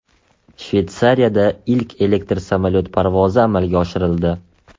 Shveysariyada ilk elektr samolyot parvozi amalga oshirildi .